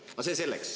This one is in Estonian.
Aga see selleks.